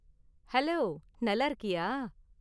Hello, நல்லா இருக்கியா?